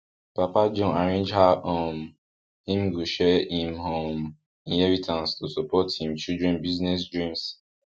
papa john arrange how um him go share him um inheritance to support him children business dreams